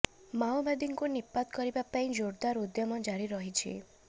ମାଓବାଦୀଙ୍କୁ ନିପାତ କରିବା ପାଇଁ ଜୋରଦାର ଉଦ୍ୟମ ଜାରି ରହିଛି